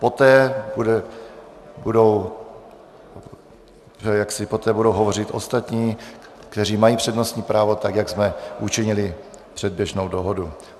Poté budou hovořit ostatní, kteří mají přednostní právo, tak jak jsme učinili předběžnou dohodu.